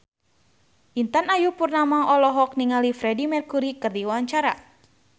Intan Ayu Purnama olohok ningali Freedie Mercury keur diwawancara